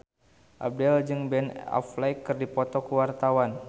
Abdel jeung Ben Affleck keur dipoto ku wartawan